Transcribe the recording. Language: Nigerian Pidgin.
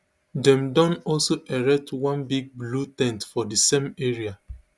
dem don also erect one big blue ten t for di same area